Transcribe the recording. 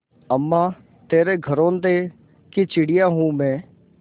अम्मा तेरे घरौंदे की चिड़िया हूँ मैं